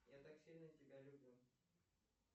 я так сильно тебя люблю